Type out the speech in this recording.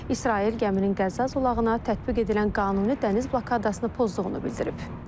İsrail gəminin Qəzza zolağına tətbiq edilən qanuni dəniz blokadasını pozduğunu bildirib.